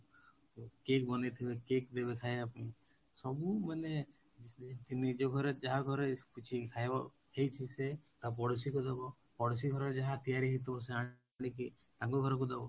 cake ବନେଇଥିବେ cake ଦେବେ ଖାଇବା ପାଇଁ ସବୁ ମାନେ ନିଜ ଘରେ ଯାହା ଘରେ କିଛି ଖାଇବା ହେଇଛି ସେ ତା ପଡୋଶୀକୁ ଦବ ପଡୋଶୀ ଘରେ ଯାହା ତିଆରି ହେଇଥିବ ସେ ଆଣିକି ତାଙ୍କ ଘରକୁ ଦବ,